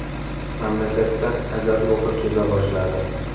Mamlakatda ajal ruhi keza boshladi.